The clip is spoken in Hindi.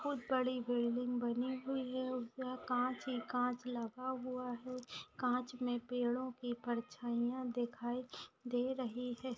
बहुत बड़ी बिल्डिंग बनी हुई है उसका कांच ही कांच लगा हुआ है कांच में पेड़ों की परछाइयां दिखाई दे रही है।